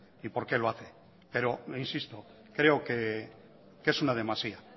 y por qué lo hace pero le insisto creo que es una demasía